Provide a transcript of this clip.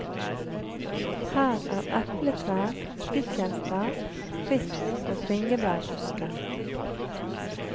Her er epletrær, stikkelsbær, rips og bringebærbusker.